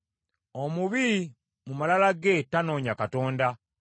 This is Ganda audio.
Omubi mu malala ge tanoonya Katonda.